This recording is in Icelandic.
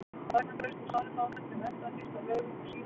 Ragnar braust úr sárri fátækt til mennta, fyrst á Laugum og síðar í